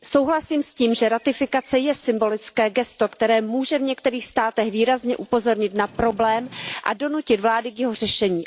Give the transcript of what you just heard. Souhlasím s tím, že ratifikace je symbolické gesto, které může v některých státech výrazně upozornit na problém a donutit vlády k jeho řešení.